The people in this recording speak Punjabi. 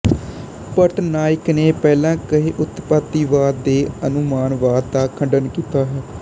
ਭੱਟ ਨਾਯਕ ਨੇ ਪਹਿਲਾਂ ਕਹੇ ਉਤਪੱਤੀਵਾਦ ਤੇ ਅਨੁਮਾਨਵਾਦ ਦਾ ਖੰਡਨ ਕੀਤਾ ਹੈ